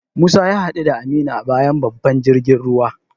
Musa ya hadu da Aminu a bayan babban jirgin ruwa.